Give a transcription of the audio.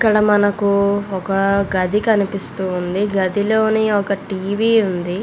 ఇక్కడ మనము ఒక గది కనిపిస్తుంది. గది లోన ఒక టీవీ ఉంది.